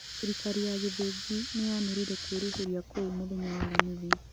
Thirikari ya Ngĩthinji niyanĩreire kũĩrĩheria kũu mũthenya wa Aramithi